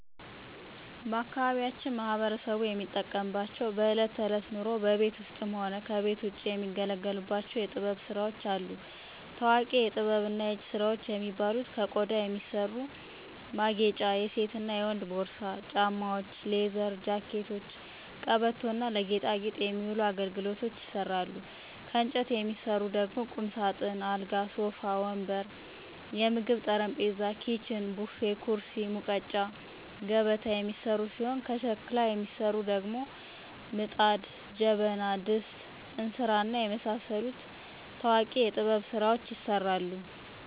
ባአካባቢያችን ማህበረሰቡ የሚጠቀምባቸው በእለት ተእለት ኑሮው በቤት ውስጥም ሆነ ከቤት ውጭ የሚገለገሉባቸው የጥበብ ስራዎች አሉ። ታዎቂ የጥበብና የእጅ ስራዎች የሚባሉ ከቆዳ የሚሰሩ ማጌጫ የሴትና የወንድ ፖርሳ፣ ጫማዎች፣ ሌዘር ጃኬቶች፣ ቀበቶ እና ለጌጣጌጥ የሚውሉ አገልግሎች ይሰራሉ። ከእንጨት የሚሰሩ ቁምሳጥን፣ አልጋ፣ ሶፋ ወንበር፣ የምግብ ጠረጴዛ፣ ኪችን፣ ቡፌ፣ ኩርሲ፣ ሙቀጫ፣ ገበታ የሚሰሩ ሲሆን ከሸክላ የሚሰሩት ደግሞ ምጣድ፣ ጀበና፣ ድስት፣ እንስራ፣ እና የመሳሰሉት ታዎቂ የጥበብ ስራዎች ይሰራሉ።